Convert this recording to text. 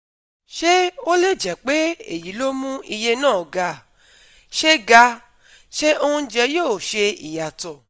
Ṣé ó lè jẹ́ pé èyí ló mú iye náà ga? Ṣé ga? Ṣé oúnjẹ yóò ṣe ìyàtọ̀?